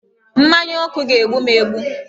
Mmanya ọkụ ga-egbu m egbu